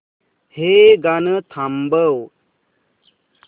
हे गाणं थांबव